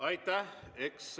Aitäh!